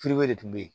de tun bɛ ye